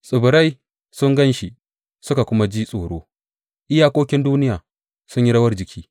Tsibirai sun gan shi suka kuma ji tsoro; iyakokin duniya sun yi rawar jiki.